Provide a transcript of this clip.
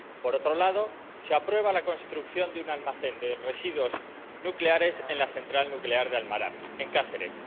por otro lado, se aprueba la construcción de un almacén de residuos nucleares en la central nuclear de Almaraz, en Cáceres.